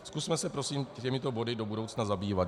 Zkusme se prosím těmito body do budoucna zabývat.